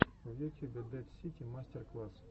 в ютюбе дэд сити мастер класс